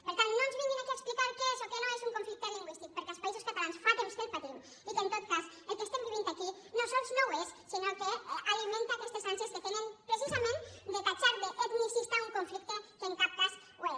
per tant no ens vinguin aquí a explicar què és o què no és un conflicte lingüístic perquè als països catalans fa temps que el patim i en tot cas el que estem vivint aquí no sols no ho és sinó que alimenta aquestes ànsies que tenen precisament de titllar d’etnicista un conflicte que en cap cas ho és